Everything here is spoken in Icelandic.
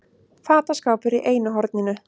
Fataskápur í einu horninu.